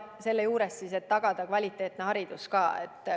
Selle juures tuleb tagada ka kvaliteetne haridus.